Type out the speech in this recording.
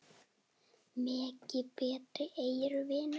Megi betri eyrun vinna.